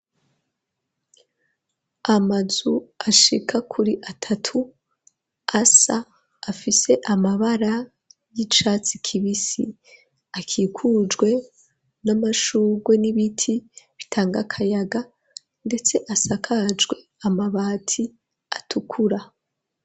Amazu ashika kuri atatu asa, afise amabara y'icatsi kibisi, akikujwe n'amashugwe n'ibiti bitanga akayaga, ndetse asakajwe amabati atukura.